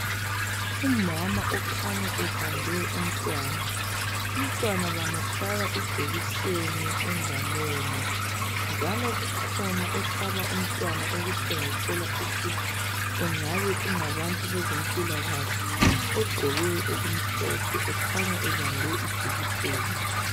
Umama okhanya ebambe umntwana. Umntwana bamhlaba ijekiseni engalweni, njalo kukhona ohlaba umntwana okutshengisela ukuthi engabe kungabantu bezempilakahle, ogqoke okumhlophe ekhanya ebambe ijekiseni.